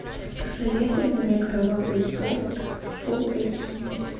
посоветуй мне кровавый спорт фул эйч ди